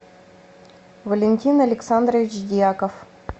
валентин александрович дьяков